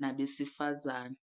nabesifazane.